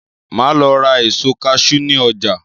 Máa Lọ ra èso "cashew" ni ọjà.